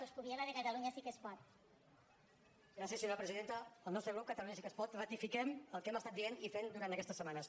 el nostre grup catalunya sí que es pot ratifiquem el que hem estat dient i fent durant aquestes setmanes